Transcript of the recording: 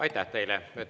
Aitäh teile!